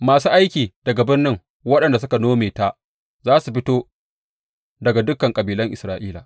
Masu aiki daga birnin waɗanda suka nome ta za su fito daga dukan kabilan Isra’ila.